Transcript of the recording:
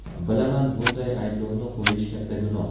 Bilaman, bunday ayblovni qo‘yish katta gunoh.